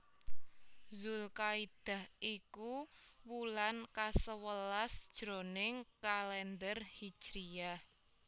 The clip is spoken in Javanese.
Dzulkaidah iku wulan kasewelas jroning Kalèndher Hijriyah